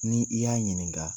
Ni i y'a ɲininka